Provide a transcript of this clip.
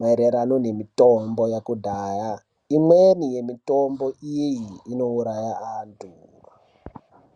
maererano nemitombo yakudhaya. Imweni mitombo iyi inouraya antu.